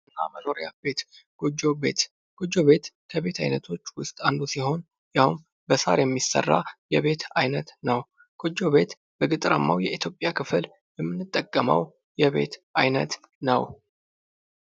ቤት እና መኖሪያ ቤት ጎጆ ቤት ጎጆ ቤት ከቤት ዓይነቶች ውስጥ አንዱ ሲሆን ፤ ይኸውም በሳር የሚሰራ የቤት ዓይነት ነው። ጎጆ ቤት በገጠራማው የኢትዮጵያ ክፍል የምንጠቀመው የቤት ዓይነት ነው።